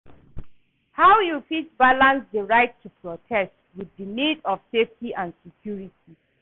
How you fit balance di right to protest with di need of safety and security?